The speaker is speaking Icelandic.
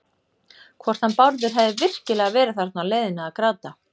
Hvort hann Bárður hefði virkilega verið þarna á leiðinu að gráta.